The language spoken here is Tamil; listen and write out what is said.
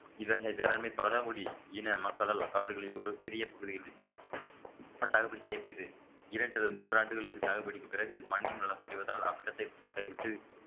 இத்தகை வேளாண்மை பழங்குடி இன மக்கள் அல்ல காடுகளில் ஒரு சிறிய பகுதிகளில் சாகுபடி செய்யப்படுது இரண்டு அல்லது மூன்று ஆண்டுகளுக்கு சாகுபடிக்கு பிறகு மண்ணின் வளம் குறைவதால் அவ்விடத்தை கைவிட்டு